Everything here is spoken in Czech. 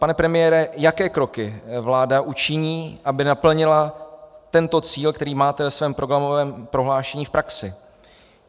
Pane premiére, jaké kroky vláda učiní, aby naplnila tento cíl, který máte ve svém programovém prohlášení, v praxi?